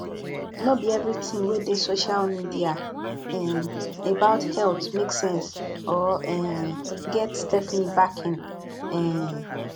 no be everything wey dey social media um about health make sense or um get stephanie backing um